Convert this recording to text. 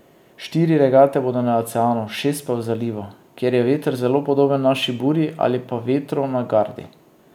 Štiri regate bodo na oceanu, šest pa v zalivu, kjer je veter zelo podoben naši burji ali pa vetru na Gardi.